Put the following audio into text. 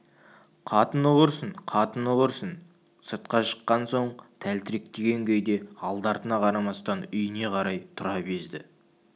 қатыны құрсын қатыны құрсын сыртқа шыққан соң тәлтіректеген күйде алды-артына қарамастан үйіне қарай тұра безді